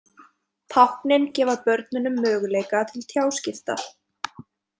Táknin gefa börnunum möguleika til tjáskipta.